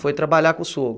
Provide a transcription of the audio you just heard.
Foi trabalhar com o sogro?